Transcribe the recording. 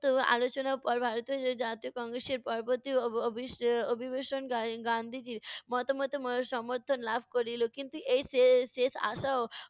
উত্তপ্ত আলোচনার পর ভারতীয় জাতীয় কংগ্রেসের পরবর্তী অভি~ অভিবেশন গা~ গান্ধীজীর মতামত সমর্থন লাভ করিলো। কিন্তু শেষ শেষ আশাও